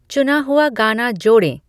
चुना हुआ गाना जोड़ें